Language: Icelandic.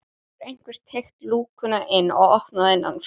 Það hefur einhver teygt lúkuna inn og opnað innanfrá.